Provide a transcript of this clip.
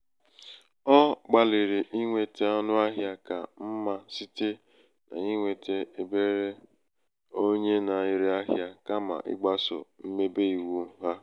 Ogbaliri inweta ọnu ahia ka mma site na inweta ebe onwe na ere ahia kama igbaso mmebe iwu ha